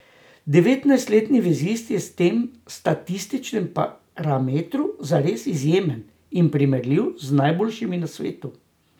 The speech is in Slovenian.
Devetnajstletni vezist je v tem statističnem parametru zares izjemen in primerljiv z najboljšimi na svetu.